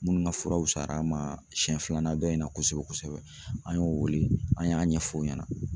Munnu ka furaw fuyara n ma siɲɛ filanan dɔ in na kosɛbɛ kosɛbɛ an y'o weele an y'a ɲɛf'o ɲɛna.